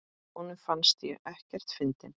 Honum fannst ég ekkert fyndin.